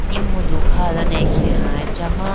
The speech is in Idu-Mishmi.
mudu kha dane akeha achama.